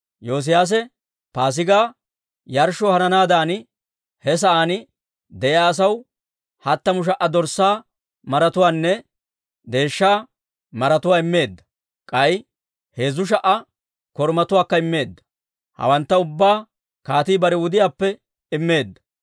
Yoosiyaase Paasigaa yarshshoo hananaadan he sa'aan de'iyaa asaw hattamu sha"a dorssaa maratuwaanne deeshsha maratuwaa immeedda; k'ay heezzu sha"a korumatuwaakka immeedda. Hawantta ubbaa kaatii bare wudiyaappe immeedda.